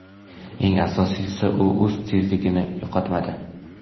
Eng asosiysi, u o‘z tezligini yo‘qotmadi.